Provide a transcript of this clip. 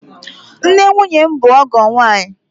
Nne nwunye m bụ ọgọ m nwaanyị.